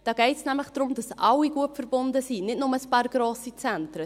Es geht darum, dass alle verbunden sind, und nicht nur grosse Zentren.